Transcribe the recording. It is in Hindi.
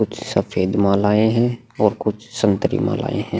कुछ सफ़ेद मालाएँ हैं और कुछ संतरी मालाएँ हैं।